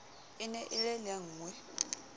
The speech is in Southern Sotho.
e ne e le lengwee